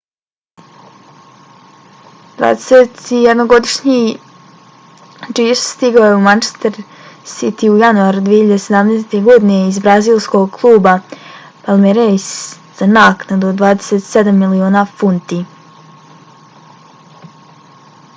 21-godišnji jesus stigao je u manchester city u januaru 2017. godine iz brazilskog kluba palmeiras za naknadu od 27 miliona funti